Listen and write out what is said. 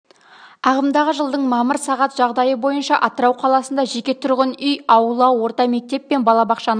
ағымдағы жылдың мамыр сағат жағдайы бойынша атырау қаласында жеке тұрғын үй аула орта мектеп пен балабақшаның